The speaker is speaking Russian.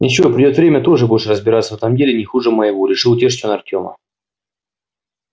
ничего придёт время тоже будешь разбираться в этом деле не хуже моего решил утешить он артёма